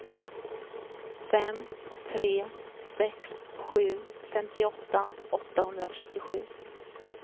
fem tre sex sju femtioåtta åttahundratrettiosju